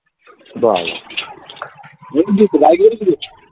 বাবা .